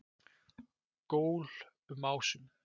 Gól um ásum